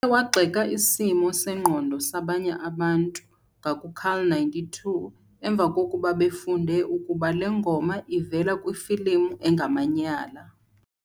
wagxeka isimo sengqondo sabanye abantu ngaku-carl92 emva kokuba befunde ukuba le ngoma ivela kwifilimu engamanyala.